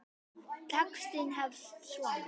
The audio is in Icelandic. Textinn hefst svona